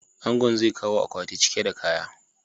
Angon zai kawo akwati cike da kaya.